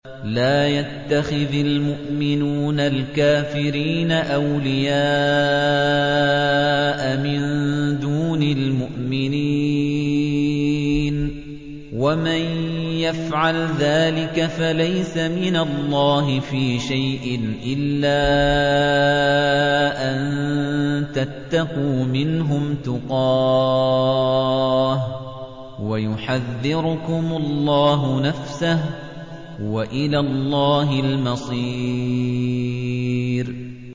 لَّا يَتَّخِذِ الْمُؤْمِنُونَ الْكَافِرِينَ أَوْلِيَاءَ مِن دُونِ الْمُؤْمِنِينَ ۖ وَمَن يَفْعَلْ ذَٰلِكَ فَلَيْسَ مِنَ اللَّهِ فِي شَيْءٍ إِلَّا أَن تَتَّقُوا مِنْهُمْ تُقَاةً ۗ وَيُحَذِّرُكُمُ اللَّهُ نَفْسَهُ ۗ وَإِلَى اللَّهِ الْمَصِيرُ